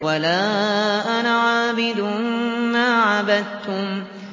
وَلَا أَنَا عَابِدٌ مَّا عَبَدتُّمْ